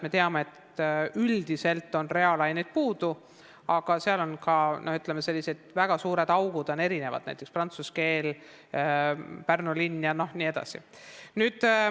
Me teame, et üldiselt on reaalainete õpetajaid puudu, aga on ka, ütleme, väga suured augud, näiteks prantsuse keel, Pärnu linn jne.